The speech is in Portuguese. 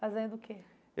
Fazendo o quê?